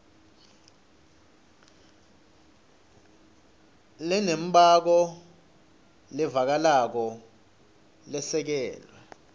lenembako levakalako lesekelwe